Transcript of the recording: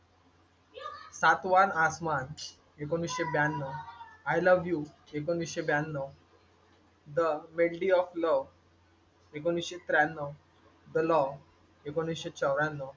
सातवा आसमान एकोणीसशे ब्याण्णव, आय लव्ह यू एकोणीसशे ब्याण्णव, द मेलडी ऑफ लव्ह एकोणीसशे त्र्याण्णव, द लॉ एकोणीसशे चौऱ्याण्णव,